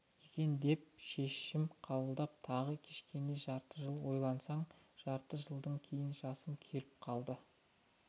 екен деп шешім қабылдап тағы кішкене жарты жыл ойланасың жарты жылдан кейін жасым келіп қалды